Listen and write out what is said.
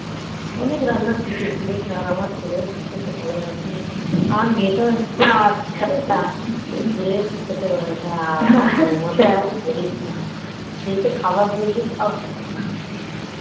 অনেক রান্না শিখেছি রে আর আমার ছেলেও খুব খেতে ভালোবাসে আর মেয়েটাও একটু খেতে ভালোবাসে আর আমার বউমার কথা তো বলিস না সে তো খাবার দেখলেই জাপিয়ে